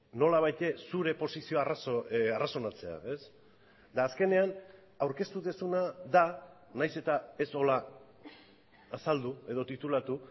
nolabait zure posizio arrazonatzea eta azkenean aurkeztu duzuna da nahiz eta ez horrela azaldu edo titulatu